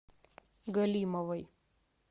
галимовой